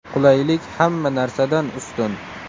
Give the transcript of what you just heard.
Qulaylik hamma narsadan ustun.